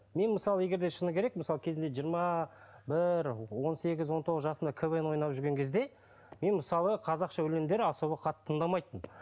мен мысалы егерде шыны керек мысалы кезінде жиырма бір он сегіз он тоғыз жасымда квн ойнап жүрген кезде мен мысалы қазақша өлеңдер особо қатты тыңдамайтынмын